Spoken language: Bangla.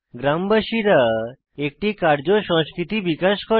গ্রামবাসীরা একটি কার্য সংস্কৃতি বিকশিত করে